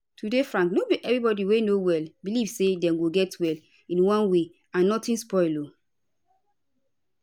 to dey frank no be everybody wey no well belief say dem go get well in one way and notin spoil